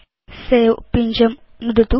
सवे पिञ्जं नुदतु